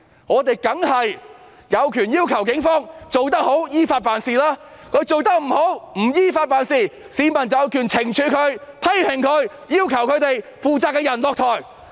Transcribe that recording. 我們當然有權要求警方做得好、依法辦事，如果他們做得不好、不依法辦事，市民有權懲處他們、批評他們、要求他們的負責人下台。